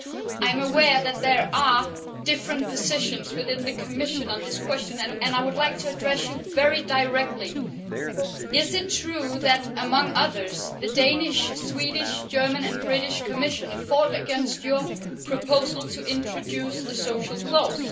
I am aware that there are different positions within the Commission on this question and I would like to ask you very directly is it true that among others, the Danish, Swedish, German and British Commissioners have fought against your proposal to introduce a social clause?